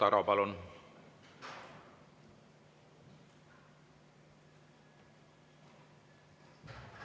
Igor Taro, palun!